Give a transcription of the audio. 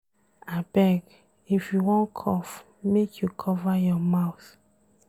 Abeg, if you wan cough, make you cover your mouth.